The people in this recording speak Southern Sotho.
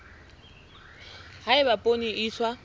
ha eba poone e iswa